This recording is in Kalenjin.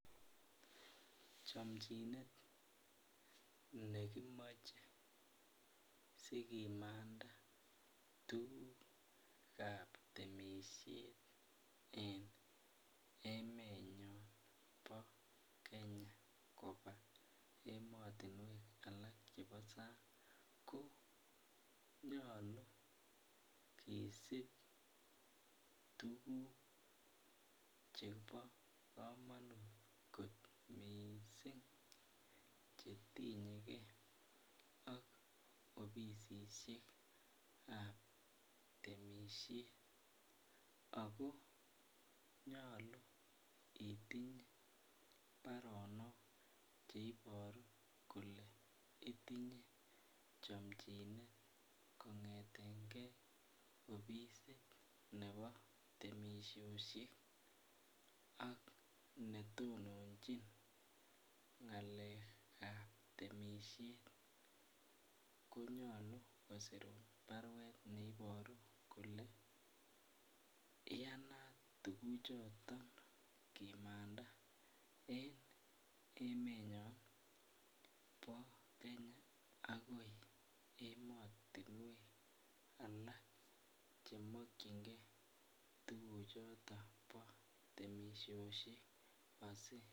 Chomchinet nekimoche sikimanda tugukab temisiet en emenyon bo Kenya kobun ematinuek chebo sang ko nyalu kisip tuguk chebo kamanut kot mising chetinyeke ak opisisiekab temisiet ago nyalu itinye baronok che ibaru kole itinye chomchinet kongetenge opisit nebo temisiosyek ak netononchin ngalekab temisiet konyalu kosir baruet neibaru kole iyanat tuguchoton kimanda en emenyon bo Kenya agoi ematinuek alak chemokyinge tuguchoton bo temisiosiek.